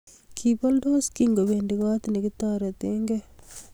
Kiboldos kingobendi kot nekitoretekei